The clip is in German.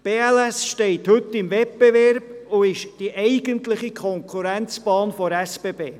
Die BLS steht heute in einem Wettbewerb und ist die eigentliche Konkurrenzbahn der SBB.